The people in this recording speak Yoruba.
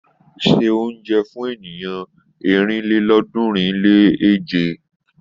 Se oúnjẹ fún ènìyàn ọ̀rìnlélọ́ọ̀ọ́dúnrún-lé-èje.